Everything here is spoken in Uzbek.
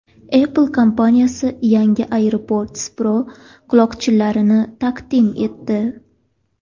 Apple kompaniyasi yangi AirPods Pro quloqchinlarini taqdim etdi.